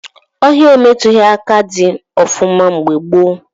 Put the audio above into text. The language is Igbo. Ọhịa emetughị aka dị ọfụma mgbe gboo